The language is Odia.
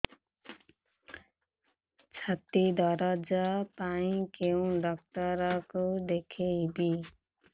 ଛାତି ଦରଜ ପାଇଁ କୋଉ ଡକ୍ଟର କୁ ଦେଖେଇବି